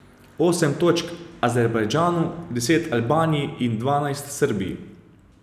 Osem točk Azerbajdžanu, deset Albaniji in dvanajst Srbiji.